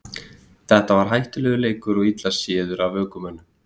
Þetta var hættulegur leikur og illa séður af ökumönnum.